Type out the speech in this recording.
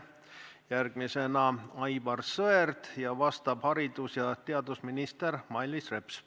Järgmisena küsib Aivar Sõerd ning vastab haridus- ja teadusminister Mailis Reps.